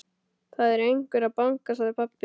Það er einhver að banka, sagði pabbi.